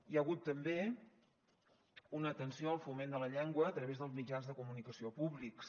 hi ha hagut també una atenció al foment de la llengua a través dels mitjans de comunicació públics